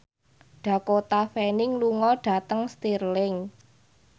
Dakota Fanning lunga dhateng Stirling